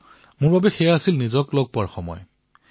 মোৰ বাবে সেয়া মোক লগ পোৱাৰ অৱকাশ আছিল